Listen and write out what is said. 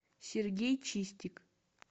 сергей чистик